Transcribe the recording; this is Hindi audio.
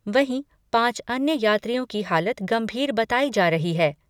वहीं, पांच अन्य यात्रियों की हालत गंभीर बताई जा रही है।